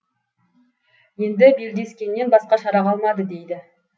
енді белдескеннен басқа шара қалмады дейді